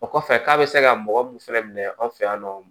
O kɔfɛ k'a bɛ se ka mɔgɔ mun fɛnɛ minɛ anw fɛ yan nɔ